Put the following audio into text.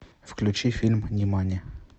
включи фильм нимани